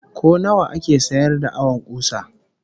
Ko nawa ake sayar da awon kusa?